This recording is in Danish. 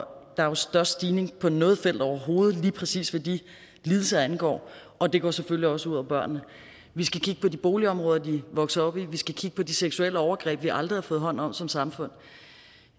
der er størst stigning på noget felt overhovedet lige præcis hvad de lidelser angår og det går selvfølgelig også ud over børnene vi skal kigge på de boligområder de er vokset op i vi skal kigge på de seksuelle overgreb vi aldrig har fået taget hånd om som samfund